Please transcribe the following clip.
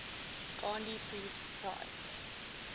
gandhi peace prize